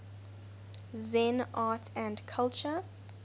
zen art and culture